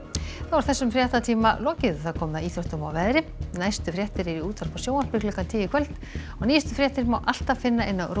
þessum fréttatíma lokið og komið að íþróttum og veðri næstu fréttir eru í útvarpi og sjónvarpi klukkan tíu í kvöld og nýjustu fréttir má alltaf finna á